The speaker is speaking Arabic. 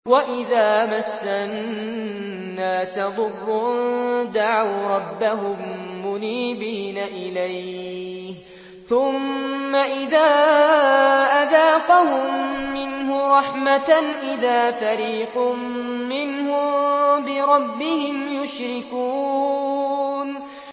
وَإِذَا مَسَّ النَّاسَ ضُرٌّ دَعَوْا رَبَّهُم مُّنِيبِينَ إِلَيْهِ ثُمَّ إِذَا أَذَاقَهُم مِّنْهُ رَحْمَةً إِذَا فَرِيقٌ مِّنْهُم بِرَبِّهِمْ يُشْرِكُونَ